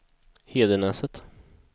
Hedenäset